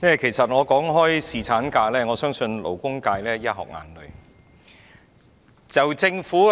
主席，談到侍產假，我相信勞工界會"一殼眼淚"。